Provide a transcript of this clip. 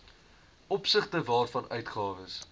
opsigte waarvan uitgawes